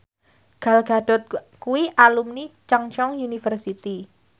Gal Gadot kuwi alumni Chungceong University